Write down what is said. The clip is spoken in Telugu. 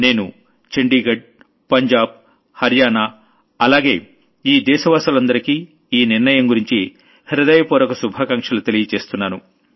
నేను చండీఘడ్ పంజాబ్ హర్యానా అలాగే ఈ దేశవాసులందరికీ ఓ నిర్ణయం గురించి హృదయపూర్వక శుభాకాంక్షలు తెలుపుతున్నాను